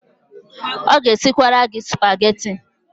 Ọ ga-esikwasara gị Spageti.